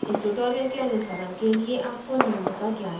इस tutorial के अनुसरण के लिए आपको निम्न का ज्ञान होना चाहिए